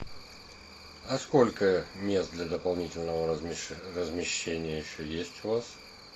а сколько мест для дополнительного размещения еще есть у вас